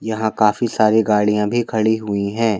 यहाँ काफी सारी गाड़ियां भी खड़ी हुई हैं।